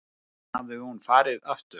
Síðan hafi hún farið aftur.